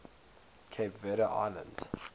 cape verde islands